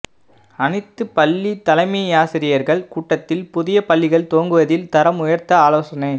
அனைத்து பள்ளி தலைமையாசிரியர்கள் கூட்டத்தில் புதிய பள்ளிகள் துவங்குதல் தரம் உயர்த்த ஆலோசனை